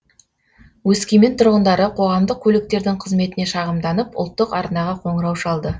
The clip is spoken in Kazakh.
өскемен тұрғындары қоғамдық көліктердің қызметіне шағымданып ұлттық арнаға қоңырау шалды